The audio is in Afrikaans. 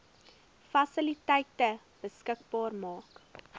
fasiliteite beskikbaar maak